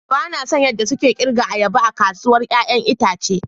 Ba na son yadda suke girka ayaba a kasuwar 'ya'yan itace.